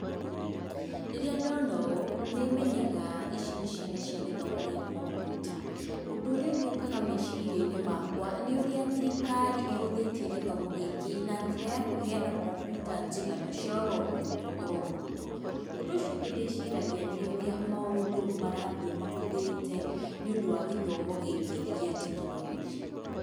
Rĩrĩa ndono ũũ nĩmenyaga ici nĩ ciana cia gĩthomo gĩa kompyuta. Ũndũrĩa ũngĩ ũkaga meciria-inĩ makwa nĩ ũrĩa thirikari ĩhũthĩtie gĩthomo gĩkĩ na njĩra ya kũheana kompyuta njiganu cia oro mũrutwo oro mũrutwo. Ũndũ ũcio ũngĩ ndĩciragia nĩ ũrĩa maũndũ marathiĩ mahũthĩte nĩũndũ wa gĩthomo gĩkĩ gĩa tekinoronjĩ.